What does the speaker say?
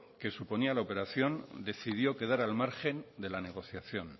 que suponía la operación decidió quedar al margen de la negociación